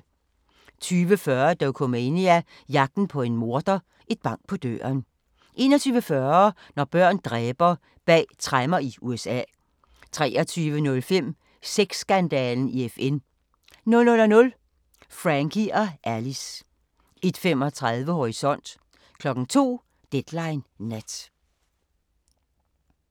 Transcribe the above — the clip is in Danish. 20:40: Dokumania: Jagten på en morder - et bank på døren 21:40: Når børn dræber – bag tremmer i USA 23:05: Sex-skandalen i FN 00:00: Frankie & Alice 01:35: Horisont 02:00: Deadline Nat